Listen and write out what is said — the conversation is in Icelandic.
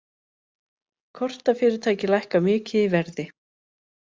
Kortafyrirtæki lækka mikið í verði